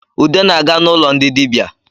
Ude na-aga n’ụlọ ndị dịbia